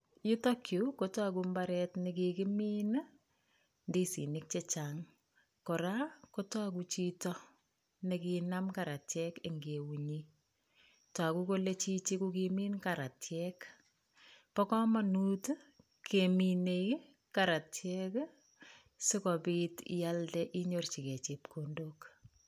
Yutok yuu kotoogu imbaaret nekikimin I,indisinik chechang kora kotoogu chito nekinaam karatiek en eunyii. Toguu kole Chichi kokimiin karatiek, bo komonut kemin karatiek I,sikobiit ialdee inyorchigei chepkondok